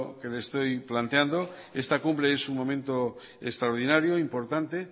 que lo estoy planteando esta cumbre es un momento extraordinario e importante